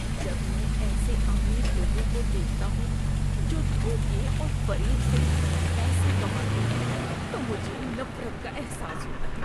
‏جب میں ایسے امیر لوگوں کو دیکھتا ہوں جو دھوکے اور فریب سے پیسہ کماتے ہیں تو مجھے نفرت کا احساس ہوتا ہے۔